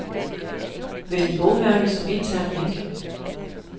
Vælg bogmærke som intern link.